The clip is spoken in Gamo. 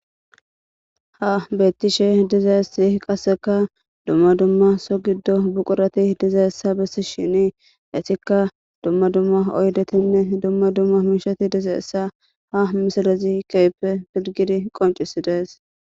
ha bettishe diza si qasseka dumma dumma so giddo buqurati diza essa bessi shini esikka dumma dumma oydetinne dumma dumma miishati dizaessa ha misalezi keype filgidi qoncisi dees